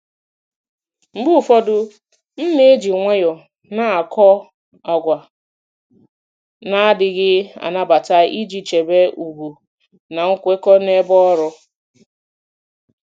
Mgbe ụfọdụ, m na-eji nwayọọ na-akọ àgwà na-adịghị anabata iji chebe ùgwù na nkwekọ n'ebe ọrụ.